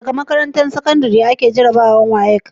Daga makarantar sakandari ake jarabawar WAEC